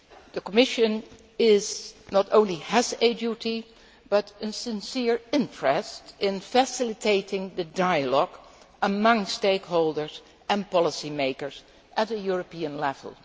The Commission not only has a duty, but also a sincere interest, in facilitating the dialogue amongst stakeholders and policymakers at a European level.